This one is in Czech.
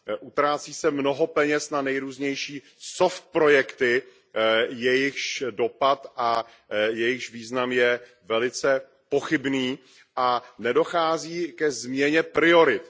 Utrácí se mnoho peněz na nejrůznější soft projekty, jejichž dopad a jejichž význam je velice pochybný a nedochází ke změně priorit.